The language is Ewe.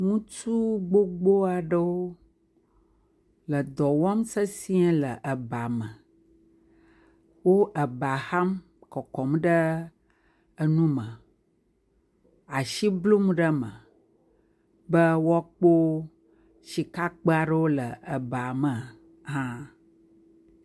Ŋutsu gbogbo aɖewo dɔ wɔm sesɛ̃e le ba me. Wo ba ham le kɔkɔm ɖe nu me, asi blum ɖe me be woakpɔ sikakpe aɖe le ba me hã?